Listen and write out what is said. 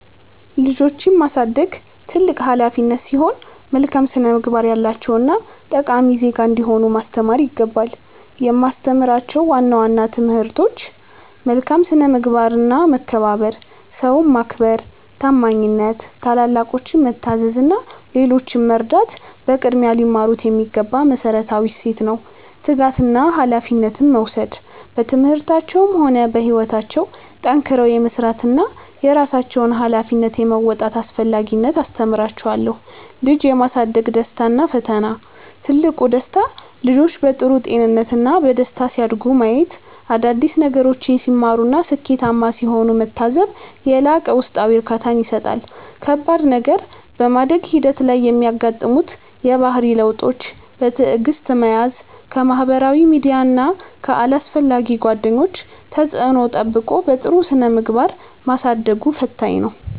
ልጆችን ማሳደግ ትልቅ ኃላፊነት ሲሆን፣ መልካም ስነ-ምግባር ያላቸውና ጠቃሚ ዜጋ እንዲሆኑ ማስተማር ይገባል። የማስተምራቸው ዋና ዋና ትምህርቶች፦ መልካም ስነ-ምግባርና መከባበር፦ ሰውን ማክበር፣ ታማኝነት፣ ታላላቆችን መታዘዝ እና ሌሎችን መርዳት በቅድሚያ ሊማሩት የሚገባ መሠረታዊ እሴት ነው። ትጋትና ኃላፊነት መውሰድ፦ በትምህርታቸውም ሆነ በሕይወታቸው ጠንክረው የመሥራትንና የራሳቸውን ኃላፊነት የመወጣትን አስፈላጊነት አስተምራቸዋለሁ። ልጅ የማሳደግ ደስታና ፈተና፦ ትልቁ ደስታ፦ ልጆች በጥሩ ጤንነትና በደስታ ሲያድጉ ማየት፣ አዳዲስ ነገሮችን ሲማሩና ስኬታማ ሲሆኑ መታዘብ የላቀ ውስጣዊ እርካታን ይሰጣል። ከባድ ነገር፦ በማደግ ሂደት ላይ የሚያጋጥሙትን የባህሪ ለውጦች በትዕግሥት መያዝ፣ ከማኅበራዊ ሚዲያና ከአላስፈላጊ ጓደኞች ተጽዕኖ ጠብቆ በጥሩ ስነ-ምግባር ማሳደጉ ፈታኝ ነው።